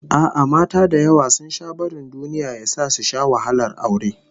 A'a, mata da yawa sun sha barin duniya ya sa su sha wahalar aure